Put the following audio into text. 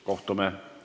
Kohtume kolmapäeval.